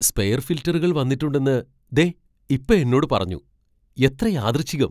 Spare ഫിൽട്ടറുകൾ വന്നിട്ടുണ്ടെന്ന് ദേ ഇപ്പോ എന്നോട് പറഞ്ഞു. എത്ര യാദൃശ്ചികം!